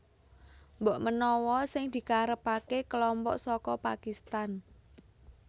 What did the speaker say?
Mbok menawa sing dikarepaké kelompok saka Pakistan